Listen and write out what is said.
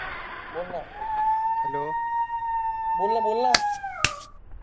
बोल ना बोल ना बोल ना